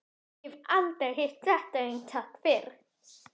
Ég hef aldrei hitt þetta eintak fyrr.